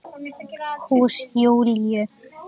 Hús Júlíu.